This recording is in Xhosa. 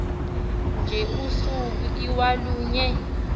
nje usuku iwalunye